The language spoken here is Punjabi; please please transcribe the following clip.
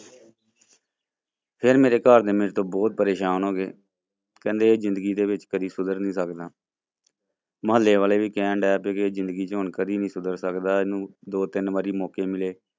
ਫਿਰ ਮੇਰੇ ਘਰਦੇ ਮੇਰੇ ਤੋਂ ਬਹੁਤ ਪਰੇਸ਼ਾਨ ਹੋ ਗਏ ਕਹਿੰਦੇ ਜ਼ਿੰਦਗੀ ਦੇ ਵਿੱਚ ਕਦੇ ਸੁਧਰ ਨੀ ਸਕਦਾ ਮੁਹੱਲੇ ਵਾਲੇ ਵੀ ਕਹਿਣ ਲੱਗ ਪਏ ਕਿ ਜ਼ਿੰਦਗੀ ਚ ਹੁਣ ਕਦੇ ਨੀ ਸੁਧਰ ਸਕਦਾ, ਇਹਨੂੰ ਦੋ ਤਿੰਨ ਵਾਰੀ ਮੌਕੇ ਮਿਲੇ।